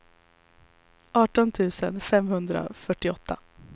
arton tusen femhundrafyrtioåtta